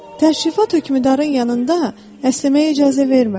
Təşrifat hökmdarın yanında əsnəməyə icazə vermir.